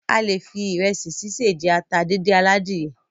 A lè fi ìrẹsì sise jẹ ata díndín aladìyẹ.